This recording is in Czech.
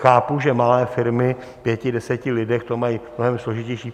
Chápu, že malé firmy v pěti, deseti lidech to mají mnohem složitější.